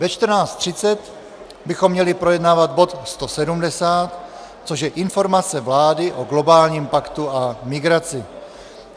Ve 14.30 bychom měli projednávat bod 170, což je Informace vlády o globálním paktu o migraci.